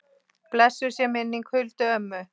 Blessuð sé minning Huldu ömmu.